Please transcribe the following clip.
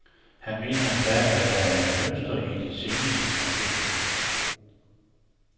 Han mener endda, at der er et mønster i de seneste konflikter.